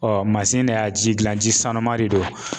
de y'a ji gilan ji sanuma de don